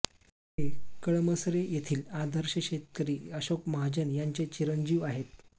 ते कळमसरे येथील आदर्श शेतकरी अशोक महाजन यांचे चिरंजीव आहेत